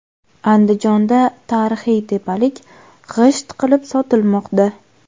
Andijonda tarixiy tepalik g‘isht qilib sotilmoqda .